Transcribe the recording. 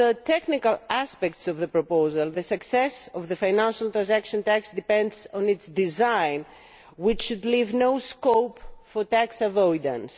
On the technical aspects of the proposal, the success of the financial transaction tax depends on its design, which should leave no scope for tax avoidance.